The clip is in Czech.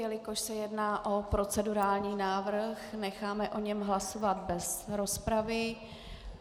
Jelikož se jedná o procedurální návrh, necháme o něm hlasovat bez rozpravy.